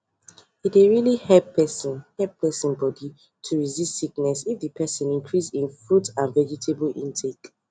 e dey really help persin help persin body to resist sickness if di persin increase hin fruit and vegetable intake